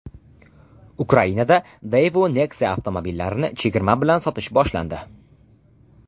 Ukrainada Daewoo Nexia avtomobillarini chegirma bilan sotish boshlandi.